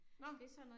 Nåh